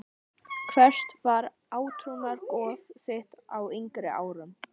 Hvert var átrúnaðargoð þitt á yngri árum?